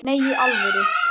Nei, í alvöru